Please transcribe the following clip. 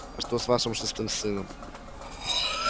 а что с вашим шестым сыном